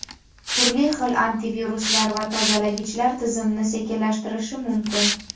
turli xil antiviruslar va tozalagichlar tizimni sekinlashtirishi mumkin.